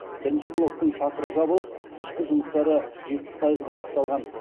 бірінші блоктың шатыры жабылып ішкі жұмыстары жетпіс пайызға аяқталған